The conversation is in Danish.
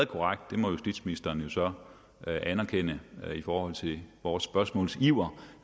korrekt det må justitsministeren jo så anerkende i forhold til vores spørgsmålsiver